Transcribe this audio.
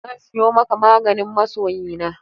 Zan siyo maka maganin masoyina.